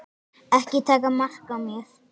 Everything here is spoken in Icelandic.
Ekki taka mark á mér.